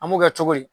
An b'o kɛ cogo di